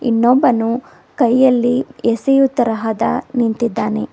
ನೊಬ್ಬನು ಕೈಯಲ್ಲಿ ಎಸೆಯು ತರಹದ ನಿಂತಿದ್ದಾನೆ.